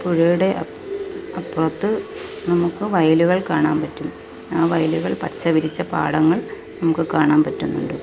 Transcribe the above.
പുഴയുടെ അപ് അപ്പുറത്ത് നമുക്ക് വയലുകൾ കാണാൻ പറ്റും ആ വയലുകൾ പച്ച വിരിച്ച പാടങ്ങൾ നമുക്ക് കാണാൻ പറ്റുന്നുണ്ട്.